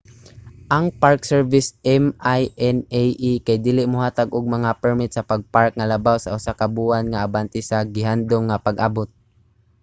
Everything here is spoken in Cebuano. ang park service minae kay dili mohatag og mga permit sa pag-park nga labaw sa usa ka buwan nga abante sa gihandom nga pag-abot